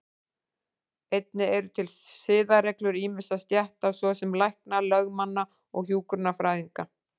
Einnig eru til siðareglur ýmissa stétta, svo sem lækna, lögmanna og hjúkrunarfræðinga.